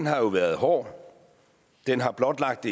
har været hård den har blotlagt